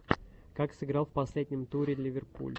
как сыграл в последнем туре ливерпуль